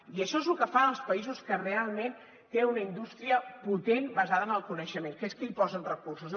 i això és el que fan els països que realment tenen una indústria potent basada en el coneixement que és que hi posen recursos